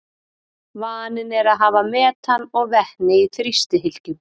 Vaninn er að hafa metan og vetni í þrýstihylkjum.